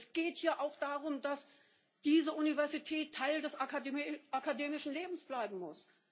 Es geht hier auch darum, dass diese Universität Teil des akademischen Lebens bleiben muss!